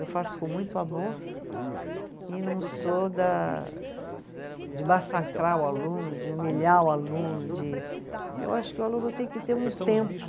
Eu faço com muito amor e não sou da de massacrar o aluno, de humilhar o aluno, de, eu acho que o aluno tem que ter um tempo.